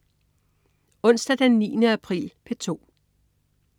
Onsdag den 9. april - P2: